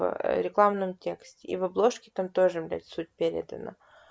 в рекламном тексте и в обложке там тоже блять суть передана